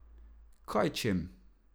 Kaj čem.